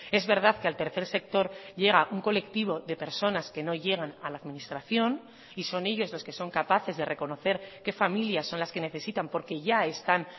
es verdad que al tercer sector llega a un colectivo de personas que no llegan a la administración y son ellos los que son capaces de reconocer qué familias son las que necesitan porque ya están